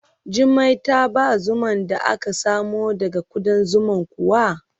Jummai ta ba zuman da aka samo daga kuɗan zuman kuwa?